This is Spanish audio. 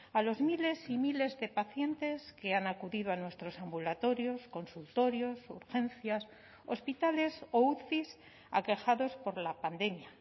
a los miles y miles de pacientes que han acudido a nuestros ambulatorios consultorios urgencias hospitales o uci aquejados por la pandemia